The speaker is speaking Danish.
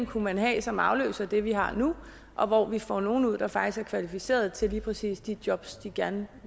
kunne have som afløser for det vi har nu og hvor vi får nogle mennesker ud der faktisk er kvalificeret til lige præcis de job de gerne